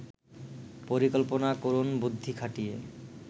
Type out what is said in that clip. পরিকল্পনা করুন বুদ্ধি খাটিয়ে